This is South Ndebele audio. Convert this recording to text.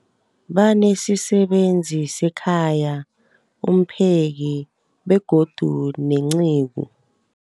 Banesisebenzi sekhaya, umpheki, begodu nenceku.